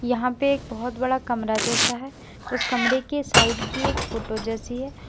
यहां पे एक बहोत बड़ा कमरा जैसा है उस कमरे के साइड की एक फोटो जैसी है।